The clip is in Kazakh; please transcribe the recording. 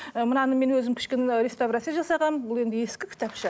ы мынаны мен өзім кішкене рестоврация жасағанмын бұл енді ескі кітапша